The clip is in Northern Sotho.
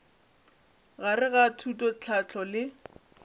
gare ga thuto tlhahlo le